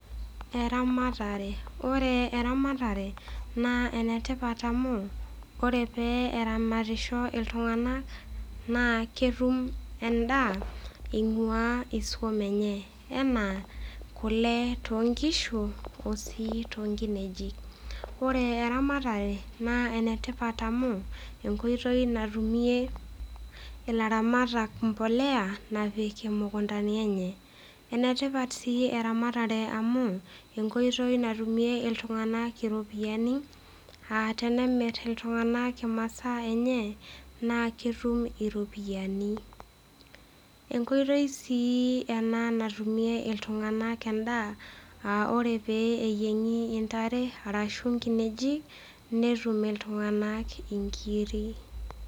Eramatare. Ore eramatare naa enetipat amu, ore pee eramatisho iltung'ana, naa ketum endaa einguaa isum enye. Anaa kule too nkishu, o sii too nkinejik. Ore eramatare naa enetipat amu enkoitoi natumie ilairamatak mbolea napiki imukuntani enye. Ene tipat sii eramatare amu, enkoitoi natumie iltung'ana iropiani aa tenemir iltung'ana imasaa enye, naa ketum iropiani. Enkoitoi sii ena natumie iltung'ana endaa aa ore pee neyieng'i intare arashu inkinejik natum iltung'ana inkiri.